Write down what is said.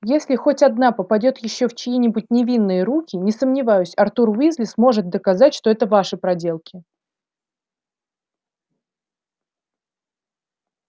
если хоть одна попадёт ещё в чьи-нибудь невинные руки не сомневаюсь артур уизли сможет доказать что это ваши проделки